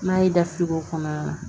N'a y'i da fili o kɔnɔna na